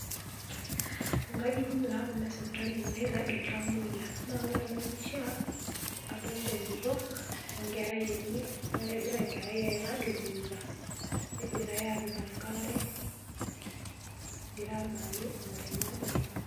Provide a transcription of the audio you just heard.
Ingajijik taa kuna esipitali naaragie iltamiyia ore ena pishia adolita enkitok wenkerai enye naa kegira enkerai airag emoita negirai aapik enkare egirra abaiki ngotonye adolita.